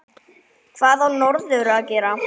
Hvað á norður að gera?